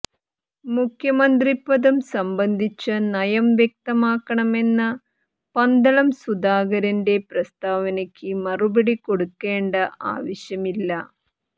മുഖ്യമന്ത്രിപദം സംബന്ധിച്ച നയം വ്യക്തമാക്കണമെന്ന പന്തളം സുധാകരന്റെ പ്രസ്താവനയ്ക്ക് മറുപടി കൊടുക്കേണ്ട ആവശ്യമില്ല